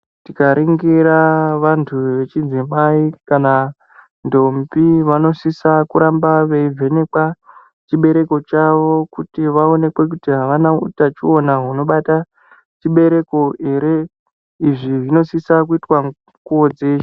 Tikaringira vantu vechidzimai kana ndombi, vanosisa kuramba veivhenekwa chibereko chavo kuti vaonekwe kuti havana utachiona hunobata chibereko here. Izvi zvinosisa kuitwa mikuwo dzeshe.